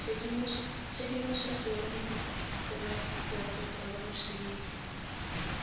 tshedimosetso ya direkoto tsa bosenyi